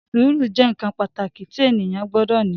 Sùúrù jẹ́ nǹkan pàtàkì tí ènìyàn gbọdọ̀ ní